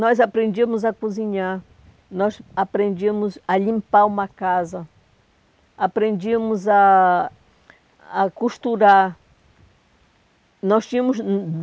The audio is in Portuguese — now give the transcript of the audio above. Nós aprendíamos a cozinhar, nós aprendíamos a limpar uma casa, aprendíamos a a costurar. Nós tínhamos